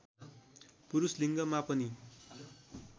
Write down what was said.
पुरूष लिङ्गमा पनि